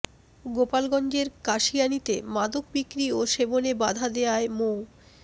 গোপালগঞ্জের কাশিয়ানীতে মাদক বিক্রি ও সেবনে বাধা দেয়ায় মো